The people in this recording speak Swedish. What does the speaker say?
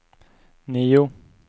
nio